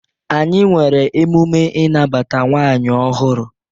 Anyị nwere emume ịnabata nwaanyi ọhụrụ.